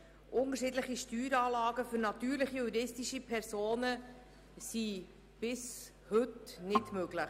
Unterschiedliche Steueranlagen für natürliche und juristische Personen sind bis heute nicht möglich.